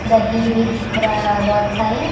दही भी दिख रहा है और बहोत सारे--